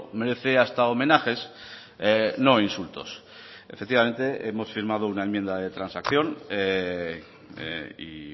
merece hasta homenajes no insultos efectivamente hemos firmado una enmienda de transacción y